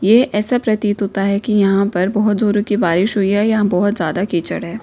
ये ऐसा प्रतीत होता है कि यहां पर बहुत जोरों की बारिश हुई है यहां बहुत ज्यादा कीचड़ है।